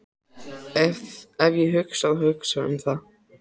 Ef ég þá hugsaði um það.